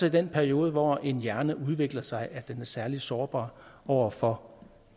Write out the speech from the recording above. i den periode hvor en hjerne udvikler sig at den er særlig sårbar over for